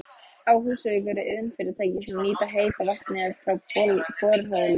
Á Húsavík eru iðnfyrirtæki sem nýta heita vatnið frá borholunum.